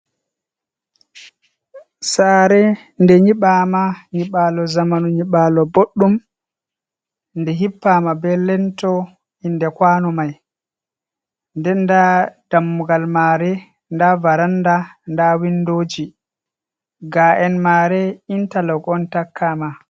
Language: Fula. Sare nde nyiɓama nyiɓalo zamanu, nyiɓalo bodɗum nde hippama be lento inde kwano mai, ndenda dammugal mare, nda varanda, nda windoji ga'en mare, intalok on takkama.